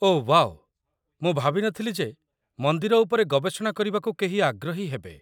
ଓଃ wow, ମୁଁ ଭାବିନଥିଲି ଯେ ମନ୍ଦିର ଉପରେ ଗବେଷଣା କରିବାକୁ କେହି ଆଗ୍ରହୀ ହେବେ।